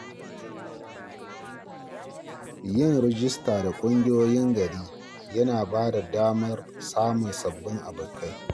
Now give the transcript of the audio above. Yin rijista da ƙungiyoyin gari yana ba da damar samun sabbin abokai.